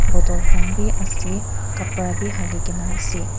bottle khan b ase kapra b hali gina ase.